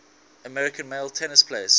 american male tennis players